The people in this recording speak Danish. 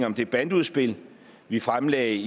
om det bandeudspil vi fremlagde